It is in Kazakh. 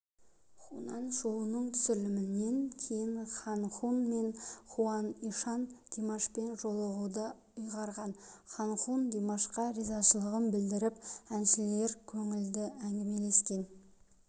хунан шоуының түсірілімінен кейін хан хун мен хуан ийшан димашпен жолығуды ұйғарған хан хун димашқа ризашылығын білдіріп әншілер көңілді әңгімелескен